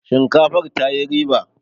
shinkafar ta yi riba!